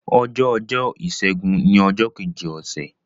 ọjọ Ọjọ́ Ìsẹ́gun ní ojó Kejì Ose.